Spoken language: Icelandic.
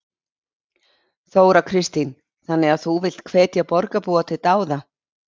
Þóra Kristín: Þannig að þú villt hvetja borgarbúa til dáða?